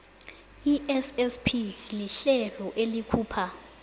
issp lihlelo elikhupha